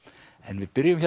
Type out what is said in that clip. við byrjum